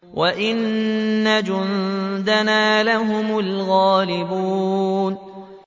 وَإِنَّ جُندَنَا لَهُمُ الْغَالِبُونَ